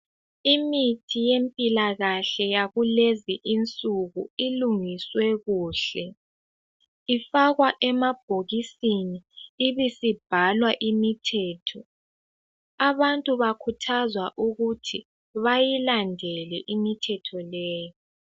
Imithi yempilakahle yakulezi insuku ilungiswe kuhle. Ifakwa emabhokisini ibisibhalwa imithetho Abantu bakhuthazwa ukuthi bayilandele imithetho leyo.